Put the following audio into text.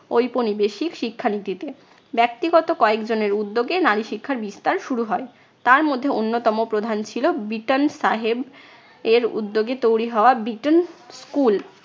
ঔপনিবেশিক শিক্ষা নীতিতে। ব্যক্তিগত কয়েক জনের উদ্যোগে নারী শিক্ষার বিস্তার শুরু হয়। তার মধ্যে অন্যতম প্রধান ছিল বিটন সাহেবের উদ্যোগে তৈরী হওয়া বিটন school ।